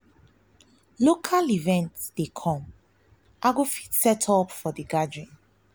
local event dey come i go help set up for de gathering.